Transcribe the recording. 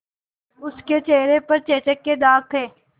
उसके चेहरे पर चेचक के दाग थे